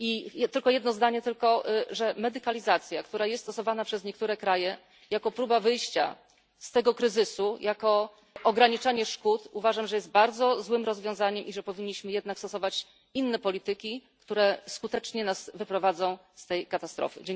Jeszcze tylko jedno zdanie Uważam, że medykalizacja, która jest stosowana przez niektóre kraje jako próba wyjścia z tego kryzysu, jako ograniczanie szkód, jest bardzo złym rozwiązaniem i że powinniśmy jednak stosować inne polityki, które skutecznie nas wyprowadzą z tej katastrofy.